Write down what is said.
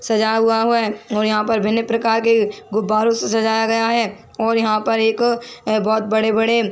सजा हुआ है और यहाँ पर भिन्न प्रकार के गुब्बारों से सजाया गया है और यहाँ पर एक बहोत बड़े - बड़े --